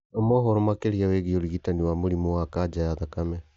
Thoma ũhoro makĩria wĩgiĩ ũrigitani wa mũrimũ wa kanja ya thakame